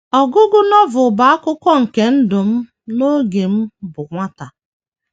Ọgụgụ Novel bụ akụkụ nke ndụ m n’oge m bụ nwata.